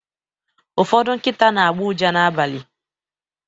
ụfọdụ nkịta na-agbọ ụja n’abalị